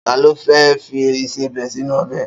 Ta ló fẹ́ fi ìsebẹ̀ sínú ọbẹ̀?